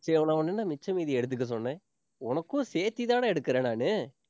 மிச்ச மீதி எடுத்துக்க சொன்னேன். உனக்கும் சேர்த்துதானே எடுக்கறேன் நானு.